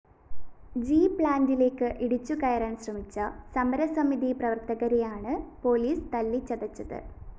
G പ്‌ളാന്റിലേക്ക് ഇടിച്ചുകയറാന്‍ ശ്രമിച്ച സമരസമിതി പ്രവര്‍ത്തകരെയാണ് പോലീസ് തല്ലിച്ചതച്ചത്